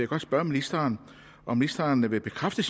godt spørge ministeren om ministeren vil bekræfte